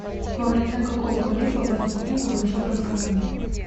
во времена какого халифа в одну книгу был собран коран